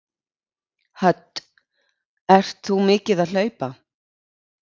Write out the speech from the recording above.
Hödd: Ert þú mikið að hlaupa?